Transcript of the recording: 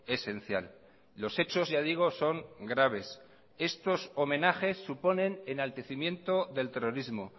esencial los hechos ya digo son graves estos homenajes suponen enaltecimiento del terrorismo